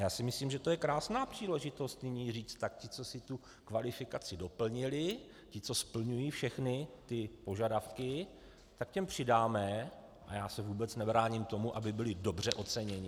Já si myslím, že to je krásná příležitost nyní říct: tak ti, co si tu kvalifikaci doplnili, ti, co splňují všechny ty požadavky, tak těm přidáme, a já se vůbec nebráním tomu, aby byli dobře oceněni.